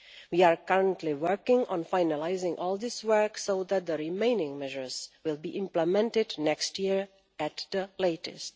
We are currently working on finalising all this work so that the remaining measures will be implemented next year at the latest.